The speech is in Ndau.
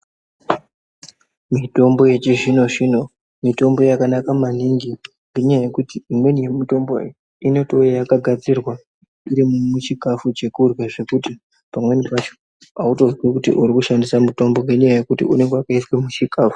Mitombo yechi zvino zvino , mitombo yakanaka maningi nenyayayekuti imweni yemitombo inotowuya yakagadzirwa irimuchikafu chekudya zvekuti pamweni pacho hautonzwi kuti urikushandisa mitombo nenyaya yekuti unenge yakaiswa muchikafu.